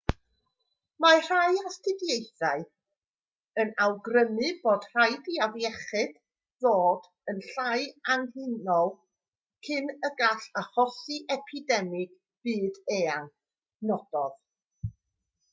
mae rhai astudiaethau yn awgrymu bod rhaid i'r afiechyd ddod yn llai angheuol cyn y gall achosi epidemig byd-eang nododd